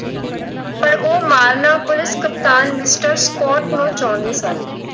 ਉਹ ਮਾਰਨਾ ਪੁਲਿਸ ਕਪਤਾਨ Mister Scott ਸਨ।